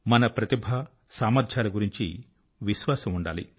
మన ప్రతిభ సామర్ధ్యాల గురించి విశ్వాసం ఉండాలి